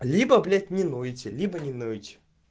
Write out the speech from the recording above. либо блять не нойте либо не нойте